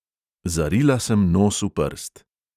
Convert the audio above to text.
Zarila sem nos v prst.